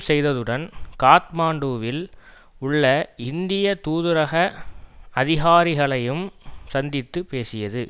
செய்ததுடன் காத்மாண்டுவில் உள்ள இந்திய தூதரக அதிகாரிகளையும் சந்தித்து பேசியது